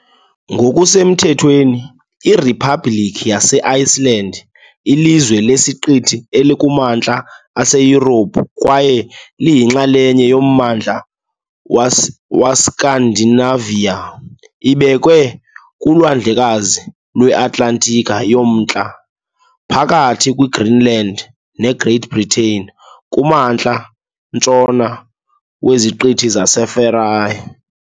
Ngokusemthethweni iRiphabhlikhi yase-Iceland, lilizwe lesiqithi elikumantla aseYurophu kwaye liyinxalenye yoMmandla weScandinavia ibekwe kuLwandlekazi lweAtlantiki yoMntla, phakathi kweGreenland neGreat Britain, kumantla-ntshona weZiqithi zeFarae .